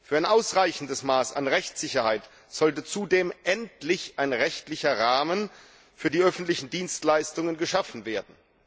Für ein ausreichendes Maß an Rechtssicherheit sollte zudem endlich ein rechtlicher Rahmen für die öffentlichen Dienstleistungen geschaffen werden.